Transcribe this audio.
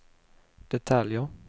detaljer